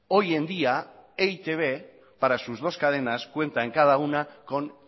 hoy en día e i te be para sus dos cadenas cuenta en cada una con